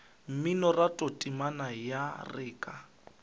mminoratho temana ya re ka